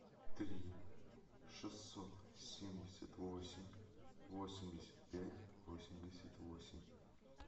три шестьсот семьдесят восемь восемьдесят пять восемьдесят восемь